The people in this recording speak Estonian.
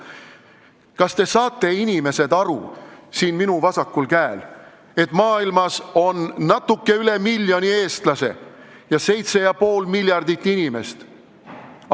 Kas te, inimesed siin minu vasakul käel, saate aru, et maailmas on natuke üle miljoni eestlase ja 7,5 miljardit inimest?